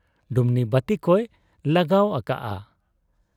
ᱰᱩᱢᱱᱤ ᱵᱟᱹᱛᱤ ᱠᱚᱭ ᱞᱟᱜᱟᱣ ᱟᱠᱟᱜ ᱟ ᱾